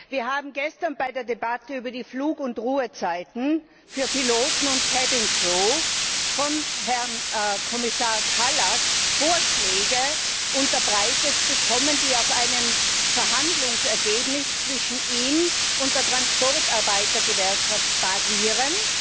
Wir haben gestern bei der Debatte über die Flug und Ruhezeiten für Piloten und von Herrn Kommissar Kallas Vorschläge unterbreitet bekommen, die auf einem Verhandlungsergebnis zwischen ihm und der Transportarbeitergewerkschaft basieren,